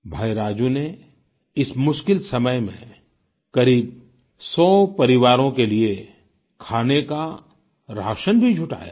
भाई राजू ने इस मुश्किल समय में करीब 100 परिवारों के लिए खाने का राशन भी जुटाया है